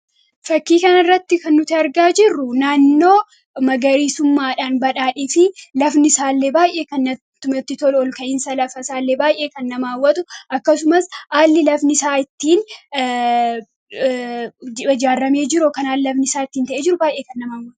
Suuraa kanaa gadii irratti kan argamu naannoo magariisummaan badhaadhee fi teessumni lafa isaa kan baayyee namatti toluu dha.